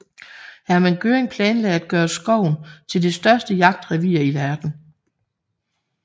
Hermann Göring planlagde at gøre skoven til det største jagtrevir i verden